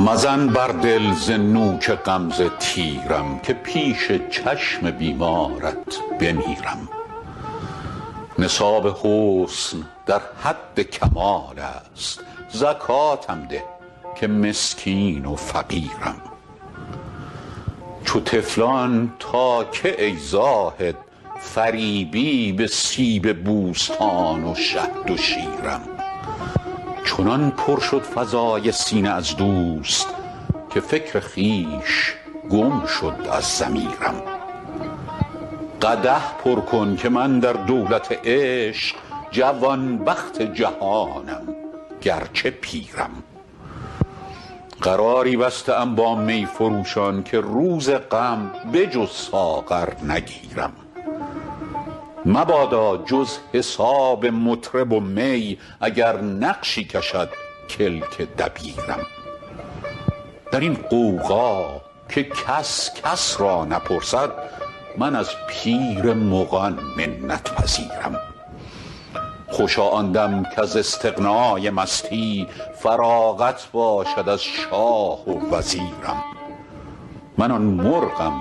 مزن بر دل ز نوک غمزه تیرم که پیش چشم بیمارت بمیرم نصاب حسن در حد کمال است زکاتم ده که مسکین و فقیرم چو طفلان تا کی ای زاهد فریبی به سیب بوستان و شهد و شیرم چنان پر شد فضای سینه از دوست که فکر خویش گم شد از ضمیرم قدح پر کن که من در دولت عشق جوانبخت جهانم گرچه پیرم قراری بسته ام با می فروشان که روز غم به جز ساغر نگیرم مبادا جز حساب مطرب و می اگر نقشی کشد کلک دبیرم در این غوغا که کس کس را نپرسد من از پیر مغان منت پذیرم خوشا آن دم کز استغنای مستی فراغت باشد از شاه و وزیرم من آن مرغم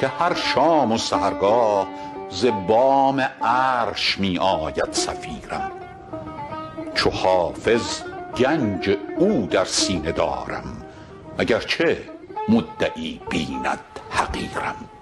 که هر شام و سحرگاه ز بام عرش می آید صفیرم چو حافظ گنج او در سینه دارم اگرچه مدعی بیند حقیرم